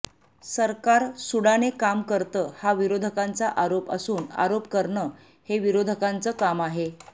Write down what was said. सरकार सुडाने काम करतं हा विरोधकांचा आरोप असून आरोप करणं हे विरोधकांचं काम आहे